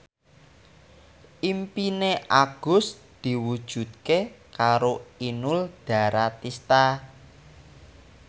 impine Agus diwujudke karo Inul Daratista